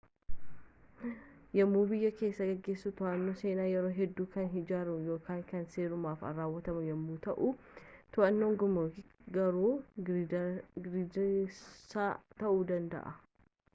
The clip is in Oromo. yemmuu biyya kee geessu to'annaan seensaa yeroo hedduu kan hinjirre yookaan kan seerumaaf raawwatamu yemmuu ta'u to'annaan gumrukii garuu girdirsaa ta'uu danda'a